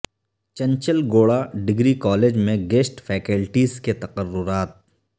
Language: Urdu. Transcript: چنچل گوڑہ ڈگری کالج میں گیسٹ فیکلٹیز کے تقررات